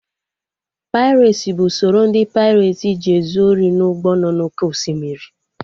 Pairesi bụ usoro ndị paireti ji ezu ori n'ụgbọ nọ na oké osimiri